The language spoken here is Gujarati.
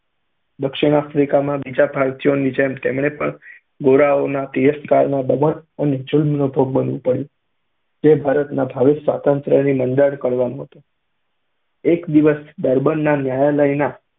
દક્ષિણ આફ્રિકામાં બીજા ભારતીયોની જેમ તેમણે પણ ગોરાઓના તિરસ્કાર, દમન અને જુલ્મનો ભોગ બનવું પડતું, જે ભારતના ભાવિ સ્વાતંત્ર્યના મંડાણ કરવાનું હતું. એક દિવસ ડર્બનના ન્યાયાલયના